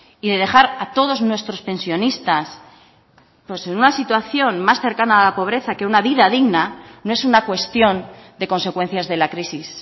y de dejar a todos nuestros pensionistas en una situación más cercana a la pobreza que una vida digna no es una cuestión de consecuencias de la crisis